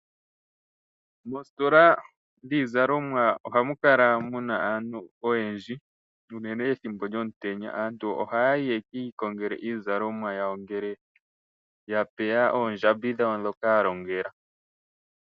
Mositola yiizalomwa ohamukala muna aantu oyendji unene ethimbo lyomutenya. Aantu ohayayi yekiikongele iizalomwa yawo ngele yapewa oondjambi dhawo dhoka yalongela.